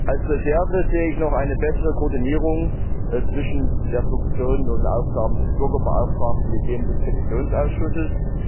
Als Reserve sehe ich noch eine bessere Koordinierung zwischen den Funktionen und Aufgaben des Bürgerbeauftragten und denen des Petitionsausschusses.